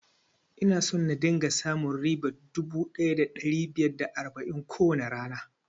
Ina so na dinga samun ribar dubu ɗaya da ɗari biyar da arba'in a kowane rana